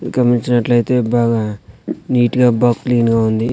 గమనించినట్లయితే బాగా నీట్ గా బా క్లీన్ గా ఉంది.